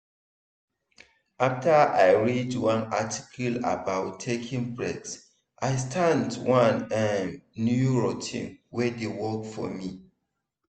after i read one article about taking breaks i start one um new routine wey dey work for me.